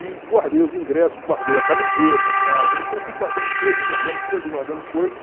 E guardei os ingressos, guardei a camiseta, claro, né? Então fui guardando coisas, guardando coisas, guardando coisas.